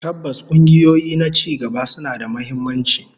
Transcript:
Tabbas, kungiyoyi na cigaba suna da muhimmanci